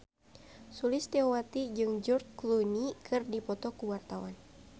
Sulistyowati jeung George Clooney keur dipoto ku wartawan